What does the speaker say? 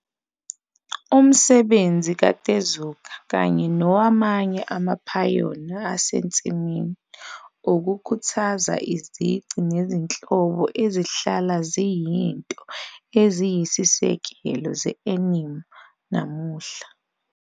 Umsebenzi kaTezuka - kanye nowamanye amaphayona asensimini - ukhuthaze izici nezinhlobo ezihlala ziyizinto eziyisisekelo ze-anime namuhla.